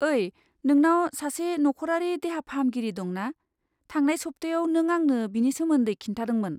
ओइ, नोंनाव सासे नख'रारि देहा फाहामगिरि दं ना? थांनाय सप्तायाव नों आंनो बिनि सोमोन्दै खिन्थादोंमोन।